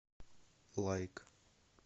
лайк